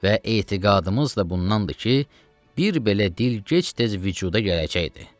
Və etiqadımız da bundandır ki, bir belə dil gec-tez vücuda gələcəkdir.